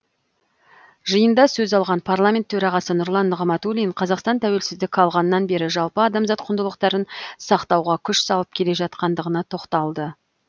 жиында сөз алған парламент төрағасы нұрлан нығматулин қазақстан тәуелсіздік алғаннан бері жалпы адамзат құндылықтарын сақтауға күш салып келе жатқандығына тоқталды